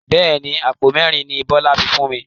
Bẹ́ẹ̀ni, Àpò mẹ́ẹ́rin ni Bọlá fẹ fún mi.